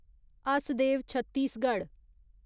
Hasdeo Chhattisgarh